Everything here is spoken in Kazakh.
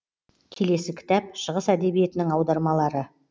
келесі кітап шығыс әдебиетінің аудармалары